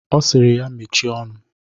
Ọ sịrị ya mechie ọnụ.